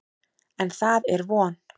En, það er von!